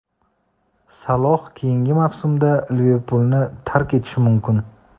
Saloh keyingi mavsumda "Liverpul"ni tark etishi mumkin.